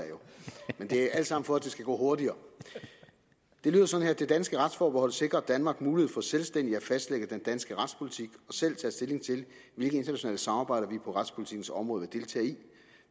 men det er alt sammen for at det skal gå hurtigere det lyder sådan vedtagelse det danske retsforbehold sikrer danmark mulighed for selvstændigt at fastlægge den danske retspolitik og selv at tage stilling til hvilke internationale samarbejder vi på retspolitikkens område